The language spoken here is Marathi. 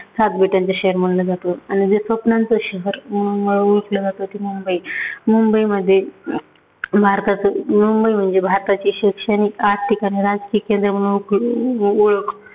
सात बेटांचं शहर म्हटलं जातं. आणि जे स्वप्नांचं शहर म्हणून ओळखलं जातं ती मुंबई. मुंबईमध्ये भारताचं मुंबई म्हणजे भारताची शैक्षणिक, आर्थिक, राजकीक यांच्यामुळे ओळखू ओळख